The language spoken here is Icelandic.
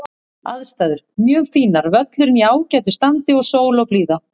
Aðstæður: Mjög fínar, völlurinn í ágætu standi og sól og blíða.